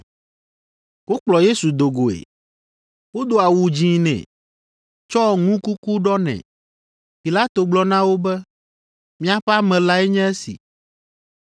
Wokplɔ Yesu do goe. Wodo awu dzĩ nɛ, tsɔ ŋukuku ɖɔ nɛ. Pilato gblɔ na wo be, “Miaƒe ame lae nye esi.”